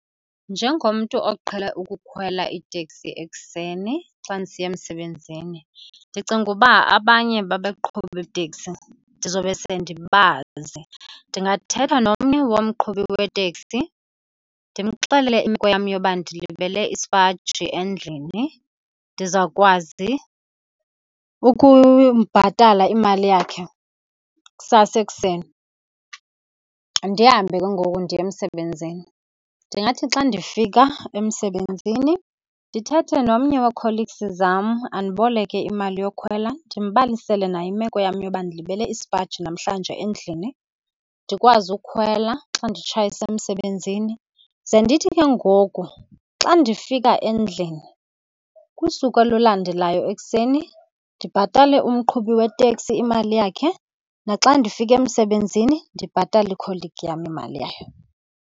Njengomntu oqhele ukukhwela iteksi ekuseni xa ndisiya emsebenzini ndicinga uba abanye babaqhubi beeteksi ndizobe sendibazi. Ndingathetha nomnye womqhubi weteksi ndimxelele imeko yam yoba ndilibele isipaji endlini, ndizawukwazi ukumbhatala imali yakhe kusasa ekuseni. Ndihambe ke ngoku ndiye emsebenzini. Ndingathi xa ndifika emsebenzini ndithethe nomnye we-colleagues zam andiboleke imali yokhwela ndimbalisele naye imeko yam yoba ndilibele isipaji namhlanje endlini, ndikwazi ukhwela xa nditshayisa emsebenzini. Ze ndithi ke ngoku xa ndifika endlini kusuku olulandelayo ekuseni ndibhatale umqhubi weteksi imali yakhe naxa ndifika emsebenzini ndibhatale ikholigi yam imali yayo.